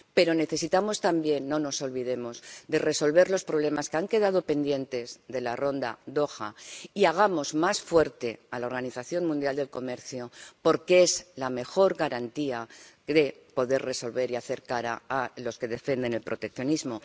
Pero necesitamos también —no lo olvidemos— resolver los problemas que han quedado pendientes de la Ronda de Doha y hacer más fuerte a la Organización Mundial del Comercio, porque es la mejor garantía de poder resolverlos y plantar cara a los que defienden el proteccionismo.